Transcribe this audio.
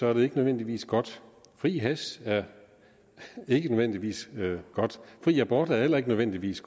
er det ikke nødvendigvis godt fri hash er ikke nødvendigvis godt fri abort er heller ikke nødvendigvis